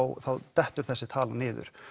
dettur þessi tala niður